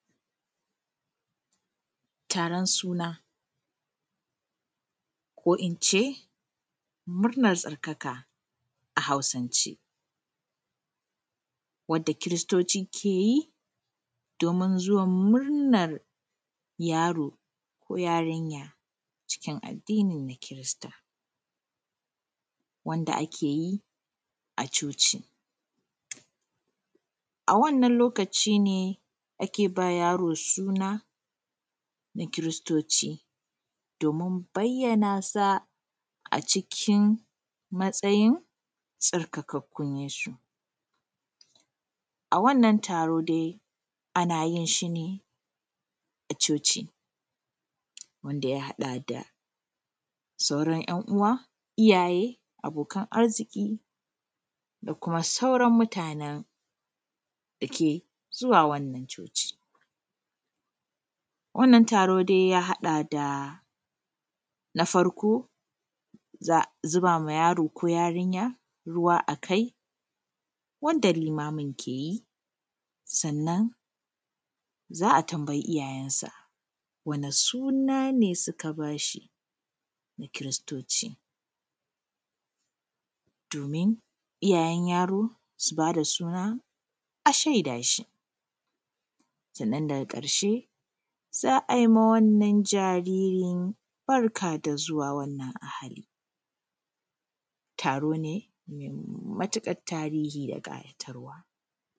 Taron suna, ko in ce murnan tsarkaka a Hausance, wanda kiristoci ke yi, domin murnan zuwan yaro ko yarinya, cikin addini na kirista, wanda ake yi a coci. A wannan lokaci ne ake ba yaro suna, na kiristoci domin bayyana sa a cikin matsayin tsarkakakkun Yesu. A wannan taro dai ana yin shi ne a coci, wanda ya haɗa da sauran yan uwa, iyaye, abokan arziki da kuma sauran mutanen da ke zuwa wannan coci. wannan taro dai ya haɗa da, na farko za a zuba ma yaro ko yarinya ruwa a kai, wanda limamin ke yI. Sannan za a tambayi iyayensa, wani suna ne suka ba shi, na kiristoci. Domin iyayen yaro su ba da suna a shaida shi. Sannan daga ƙarshe, za a yi ma wannan jaririn barka da zuwa wannan ahali. Taro ne me matuƙat tarihi da ƙayatarwa.